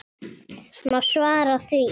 Má svara því?